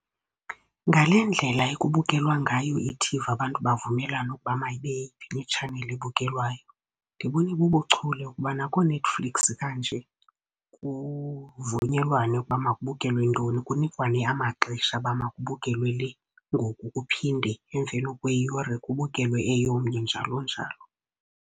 Ngale ndlela ekubukelwa ngayo ithivi, abantu bavumelane ukuba mayibe yeyiphi itshaneli ebukelwayo. Ndibona ibubuchule ukubana kooNetflix kanje kuvunyelwane ukuba makubukelwe ntoni, kunikwane amaxesha uba makubukelwe le ngoku. Kuphinde emveni kweyure kubukelwe eyomnye, njalo njalo.